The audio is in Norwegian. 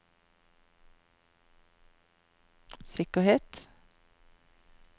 sikkerhet